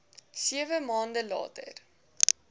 sewe maande later